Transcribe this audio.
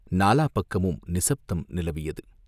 நாலா பக்கமும் நிசப்தம் நிலவியது.